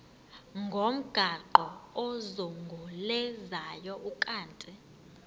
ngomgaqo ozungulezayo ukanti